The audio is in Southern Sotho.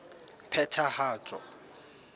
phethahatso